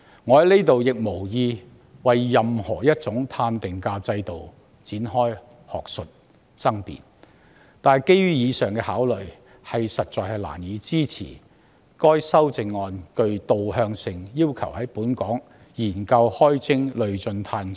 我無意就任何一種碳定價制度展開學術爭辯，但基於上述考慮，我實在難以支持該項具導向性的修正案，要求當局"研究開徵累進'碳稅'"。